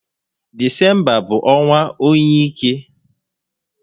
Disemba bụ ọnwa óyi ike